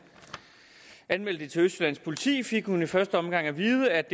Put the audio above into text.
anmeldte det til østjyllands politi fik hun i første omgang at vide at